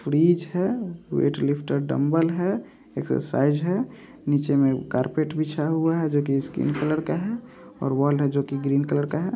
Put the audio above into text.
Fridge है weight lifter dumbbell है exercise है नीचे मे कार्पेट बीछा हुआ है जो कि स्किन कलर का है और वॉल है जो कि ग्रीन कलर का है।